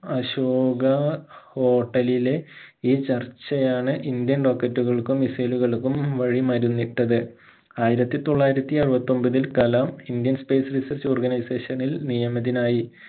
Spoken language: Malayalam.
അശോക hotel ലിലെ ഈ ചർച്ചയാണ് indian rocket കൾക്കും missile കൾക്കും വഴി മരുന്നിട്ടത് ആയിരത്തി തൊള്ളായിരത്തി അറുപത്തി ഒൻപതിൽ Kalam indian space research organisation ഇൽ നിയമിതനായി